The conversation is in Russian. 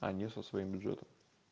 а не со своим бюджетом